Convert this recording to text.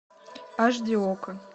аш ди окко